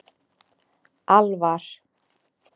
Alvar